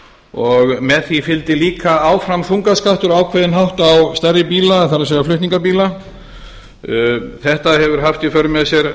og með því fylgdi líka áfram þungaskattur á ákveðinn hátt á stærri bíla það er flutningabíla þetta hefur haft í för með sér